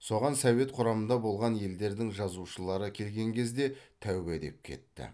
соған совет құрамында болған елдердің жазушылары келген кезде тәубә деп кетті